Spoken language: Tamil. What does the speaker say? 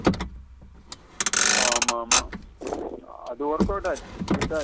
ஆமா ஆமா அது workout ஆச்சி hit ஆச்சி.